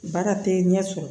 Baara tɛ ɲɛ sɔrɔ